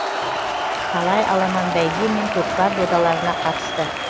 талай аламан бәйге мен көкпар додаларына қатысты